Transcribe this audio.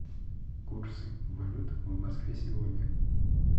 курсы валют в москве сегодня